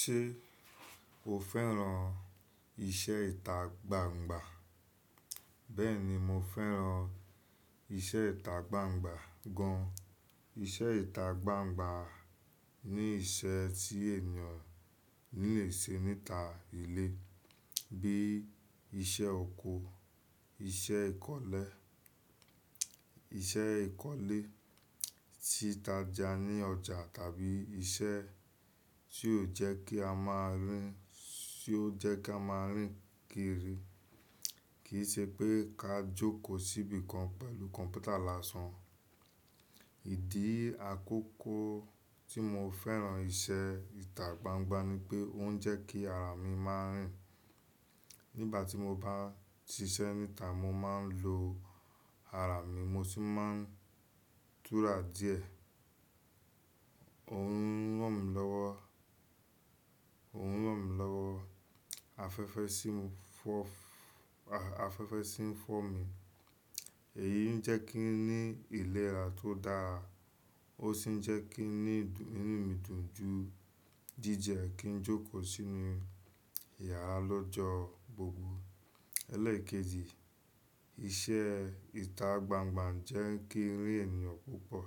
Ṣé o fẹ́ràn iṣẹ́ ìta gbangba? Bẹ́ẹ̀ni, mo fẹ́ràn iṣẹ́ ìta gbangba gan. Iṣẹ́ ìta gbangba ni iṣẹ́ tí ènìyàn lè ṣe níta ilé bíi iṣẹ́ oko, iṣẹ́ ìkọ́lé, iṣẹ́ ìkọ́lé títa ja ní ọjà tàbí iṣẹ́ tí yóò jẹ́ kí a máa rìn, tí yóò jẹ́ kí a máa rìn kiri. Kì í ṣe pé ká jókòó síbi kan pẹ̀lú kọ̀npútà lásán. Ìdí àkọ́kọ́ tí mo fẹ́ràn iṣẹ́ ìta gbangba ni pé ó ń jẹ́ kí ara mi má rìn. Nígbà tí mo bá ń ti iṣẹ́ níta, mo máa ń lo ara mi, mo sì máa ń tura díẹ̀. Òun ń ràn mí lọ́wọ́, Òun ń ràn mí lọ́wọ́. Afẹ́fẹ́ sì ń fọ́, afẹ́fẹ́ sì ń fọ́ mi. Èyí ń jẹ́ kí n ní ìlera tó dára ó sì ń jẹ́ kí n ní inú mi dùn ju jíjẹ kí n jókòó sínú ìyàrá lọ́jọ́ gbogbo. Elékeji, iṣẹ́ ìta gbangba jẹ́ kí rí ènìyàn púpọ̀.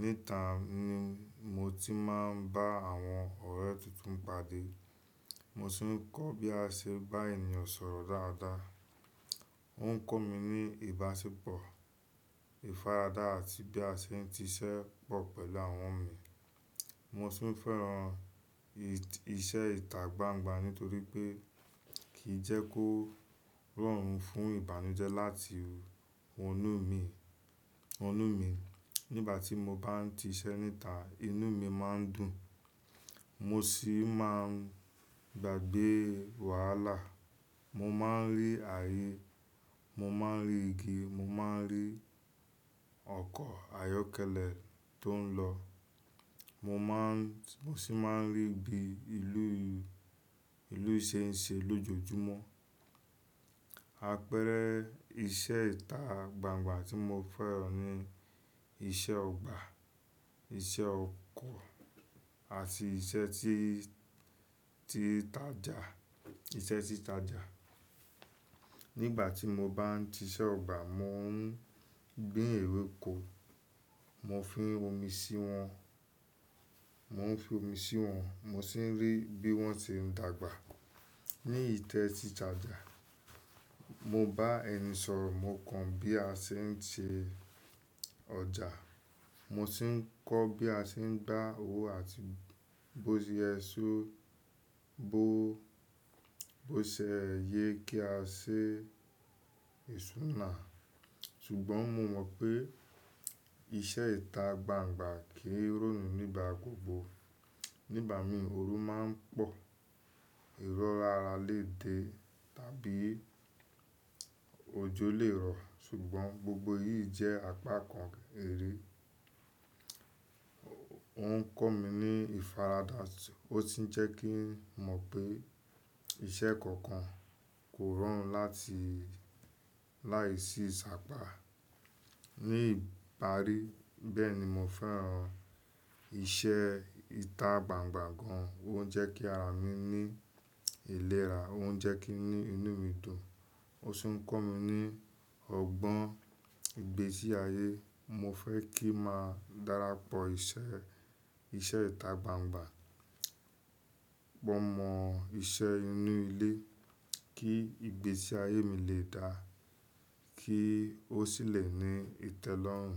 Níta ni mo ti máa ń bá àwọn ọ̀rẹ́ tuntun pàdé. Mo sì ń kọ́ bí a ṣe bá ènìyàn sọ̀rọ̀ dáadáa. Óuń kọ́ mi ní ìbáṣepọ̀, ìfaradà àti bí a ṣe ń ti iṣẹ́ pọ̀ pẹ̀lú àwọn mi. Mo tuń fẹ́ràn iṣẹ́ ìta gbangba nítorí pé kì í jẹ́ kó rọrùn fún ìbànújẹ́ láti wonú mi, wonú mi. Nígbà tí mo bá ń ti iṣẹ́ níta, inú mi má ń dùn. Mo sì máa ń gbàgbé wàhálà. Mo má a ń rí ààyè, mo má a ń rí igi, mo má a ń rí ọkọ̀ ayọ́kẹ́lẹ́ tó ń lọ. Mo má ń, mo sì máa ń rí bí ìlú, ìlú ṣe ń ṣe lójoojúmọ́. Àpẹẹrẹ iṣẹ́ ìta gbangba tí mo fẹ́ràn ni iṣẹ́ ọgbà, iṣẹ́ ọkọ̀ àti iṣẹ́ tí, títa ja, iṣẹ́ títa ja. Nígbà tí mo bá ń ti iṣẹ́ ọgbà, mo ń gbin ewéko. Mo fi omi sí wọn, mo ń fi omi sí wọn, mo sì ń rí bí wọ́n ṣe ń dàgbà. Ni ìtẹ́ títa ja, mo bá ẹni sọ̀rọ̀, mo kàn bí a ṣe ń se ọjà. Mo sì ń kọ́ bí a ṣe ń gbá owó àti bóyẹ só, bó, bó ṣe yẹ kí a ṣe ìṣúná. Ṣùgbọ́n mo mọ̀ pé iṣẹ́ ìta gbangba kì í rọrùn nígbà gbogbo. Nígbà mìí òru má ń pọ̀, irọ́ra ára lè dé tàbí ojó lè rọ̀. Ṣùgbọ́n gbogbo èyí jẹ́ àpá kan ère. Óuń kọ́ mi ní ìfaradà, ó sì ń jẹ́ kí n mọ̀ pé iṣẹ́ kokan kò rọrùn láti, láìsí sàpá ní ìparí. Bẹ́ẹ̀ni, mo fẹ́ràn iṣẹ́ ìta gbangba gan. Óuń jẹ́ kí ara mi ní ìlera, óuń jẹ́ kí inú mi dùn, ó sì ń kọ́ mi ní ọgbọ́n ìgbésí ayé. Mo fẹ́ kí màá darapọ̀ iṣẹ́, iṣẹ́ ìta gbangba. Mọ mọ iṣẹ́ inú ilé kí ìgbésí ayé mi lè dáa, kí ó sì lè ní ìtẹ́lọ́rùn.